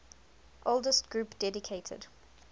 oldest group dedicated